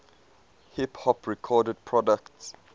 hip hop record producers